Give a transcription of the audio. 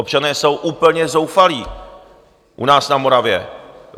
Občané jsou úplně zoufalí u nás na Moravě.